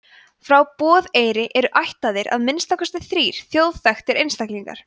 frá borðeyri eru ættaðir að minnsta kosti þrír þjóðþekktir einstaklingar